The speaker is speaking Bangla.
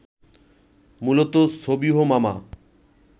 মূলত সবিহ মামা